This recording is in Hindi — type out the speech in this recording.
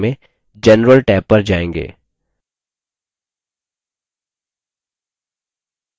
tab हम properties भाग में general टैब पर जाएँगे